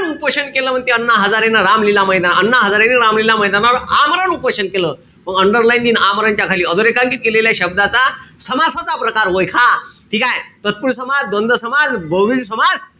उपोषण केले म्हणते अण्णा हज़ारेने रामलीला मैदानावर. अण्णा हज़ारेने रामलीला मैदानावर आमरण उपोषण केलं. मंग underline यिन आमरण च्या खाली. अधोरेखांकीत केलेल्या शब्दाचा समासाचा प्रकार वयखा. ठीकेय? तत्पुरुषी समास, द्वंद्व समास, बहूव्रीही समास,